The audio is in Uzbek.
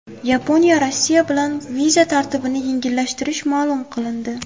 Yaponiya Rossiya bilan viza tartibini yengillashtirishi ma’lum qilindi.